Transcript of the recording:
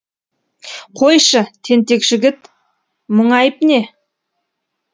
қойшы тентек жігіт мұңайып не